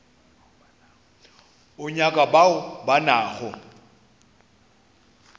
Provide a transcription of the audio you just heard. o nyaka bao ba nago